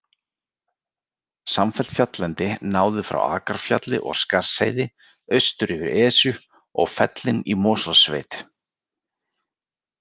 Samfellt fjalllendi náði frá Akrafjalli og Skarðsheiði austur yfir Esju og fellin í Mosfellssveit.